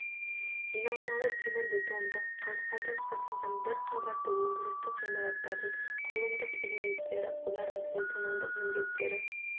жиналмалы темірбетондық қаңқадан жасалған бір қабатты өндірістік ғимараттардың құрылымдық элементтері олардың функционалдық міндеттері